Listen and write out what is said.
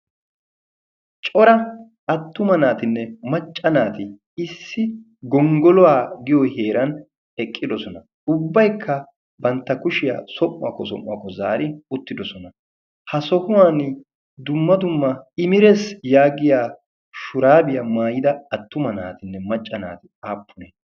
cora attuma naatinne macca naati issi gonggoluwaa giyo heeran eqqidosona. ubbaykka bantta kushiyaa som'uwaakko som'uwaakko zaari uttidosona. ha sohuwan dumma dumma imetees yaagiya shuraabiyaa maayida attuma naatinne macca naati aappune?